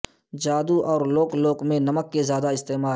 جادو اور لوک لوک میں نمک کے زیادہ استعمال